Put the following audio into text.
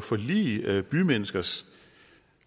forlige bymenneskers